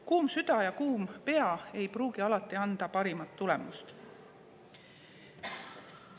Kuum süda ja kuum pea ei pruugi alati anda parimat tulemust.